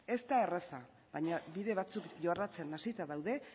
ez da erraza baina bide batzuk jorratzen hasita daude